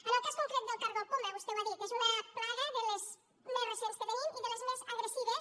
en el cas concret del cargol poma vostè ho ha dit és una plaga de les més recents que tenim i de les més agressives